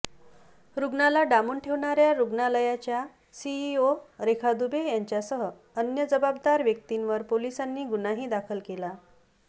रुग्णाला डांबून ठेवणाऱ्या रुग्णालयाच्या सीईओ रेखा दुबे यांच्यासह अन्य जबाबदार व्यक्तींवर पोलिसांनी गुन्हाही दाखल केला